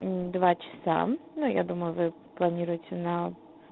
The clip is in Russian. два часа но я думаю вы планируете на